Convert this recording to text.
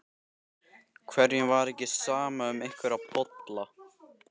Hverjum var ekki sama um einhverja bolla?